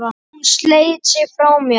Hún sleit sig frá mér.